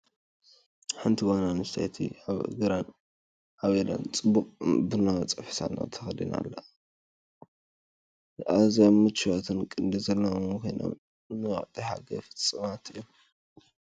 ሓንቲ ጓል ኣንስተይቲ ኣብ እግራን ኣብ ኢዳን ጽቡቕ ቡናዊ ጸፍሒ ሳንዱቕ ተኸዲና ትርአ። ኣዝዮም ምቹኣትን ቅዲ ዘለዎምን ኮይኖም፡ ንወቕቲ ሓጋይ ፍጹማት እዮም።